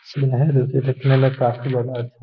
है जो कि देखने में काफी ज्यादा अच्छा --.